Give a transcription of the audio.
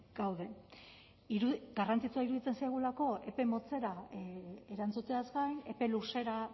gaude garrantzitsua iruditzen zaigulako epe motzera erantzuteaz gain epe luzera